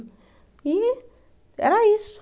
E era isso.